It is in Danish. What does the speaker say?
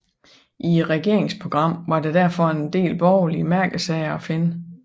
I regeringsprogrammet var der derfor en del borgerlige mærkesager at finde